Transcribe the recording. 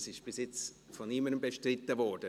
es ist bis jetzt von niemandem bestritten worden.